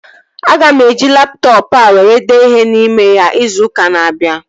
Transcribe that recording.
Aga m eji laptọọpụ a were dee ihe n'ime ya izu ụka na-abịa